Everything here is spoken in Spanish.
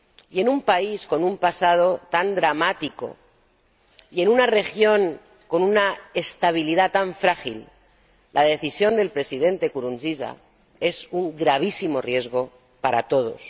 y en un país con un pasado tan dramático y en una región con una estabilidad tan frágil, la decisión del Presidente Nkurunziza es un gravísimo riesgo para todos.